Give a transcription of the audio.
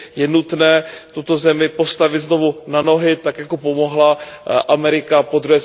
Je nutné tuto zemi postavit znovu na nohy, tak jako pomohla Amerika po